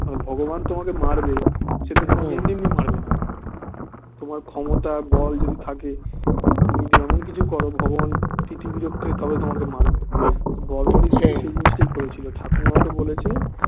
ভগবান তোমাকে মারবে সেতো তোমায় এমনি এমনি মারবে না তোমার ক্ষমতা বল যদি থাকে তুমি যদি এমন কিছু করো ভগবান তিতিবিরক্ত হয়ে তবে তোমাকে মারবে বড়বড়ি সেই জিনিসটাই করেছিল ঠাকুমা ওকে বলেছে